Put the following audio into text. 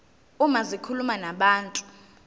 uma zikhuluma nabantu